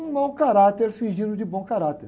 Um mau caráter fingindo de bom caráter.